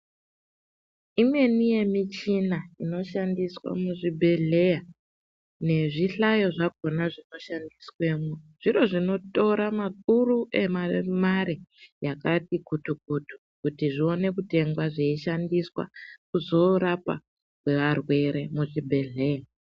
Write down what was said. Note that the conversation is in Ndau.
Imweni yemichina inoshandiswa muzvibhedhleya nezvihlayo zvakhona zvinoshandiswemwo zviro zvinotora makur emamare yakati kutu kutu kuti zvione kutengwa zveishandiswa kuzoorapa kwevarwere muzvibhedhleya.